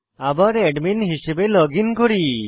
আবার অ্যাডমিন হিসাবে লগইন করি